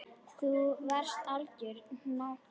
Þú varst algjör nagli.